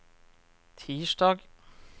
tirsdag